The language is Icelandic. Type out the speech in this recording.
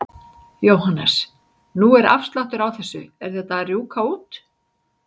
Jóhannes: Nú er afsláttur á þessu, er þetta að rjúka út?